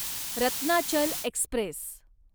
Ratnachal Express